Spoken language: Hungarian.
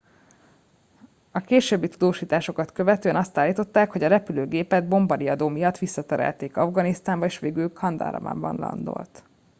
későbbi tudósításokat követően azt állították hogy a repülőgépet bombariadó miatt visszaterelték afganisztánba és végül kandaharban landolt